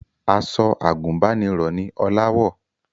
Aṣọ àgùnbánirọ̀ ni Ọlá wọ̀